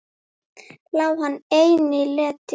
Lá hann ei í leti.